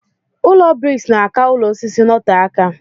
Ụlọ briks na aka ụlọ osisi notee aka.